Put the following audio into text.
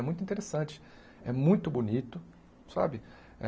É muito interessante, é muito bonito, sabe?